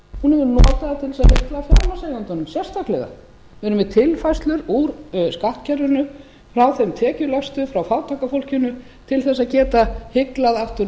hún hefur notað það til að hygla fjármagnseigendunum sérstaklega við erum með tilfærslur úr skattkerfinu frá þeim tekjulægstu frá fátæka fólkinu til þess að geta hyglað aftur